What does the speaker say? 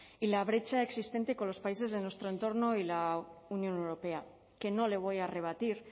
y la brecha existente con los países de nuestro entorno y la unión europea que no le voy a rebatir